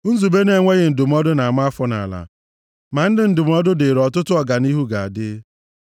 Nzube na-enweghị ndụmọdụ na-ama afọ nʼala, ma ndị ndụmọdụ dịrị ọtụtụ ọganihu ga-adị.